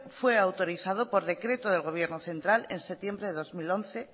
fue autorizado por decreto de gobierno central en septiembre del dos mil once